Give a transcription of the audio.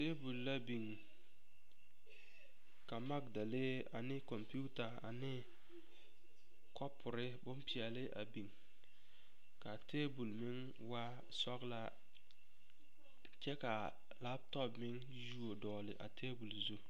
Tabol la biŋ ka magdalee ane kɔmpeta ane kɔpore bompeɛle a biŋ ka tabol meŋ waa sɔglaa kyɛ ka lapetɔpe meŋ yuo dɔgle a tabol zu.